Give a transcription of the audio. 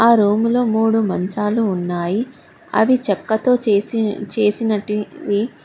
ఆ రూములో మూడు మంచాలు ఉన్నాయి అవి చెక్కతో చేసిన చేసినటివి.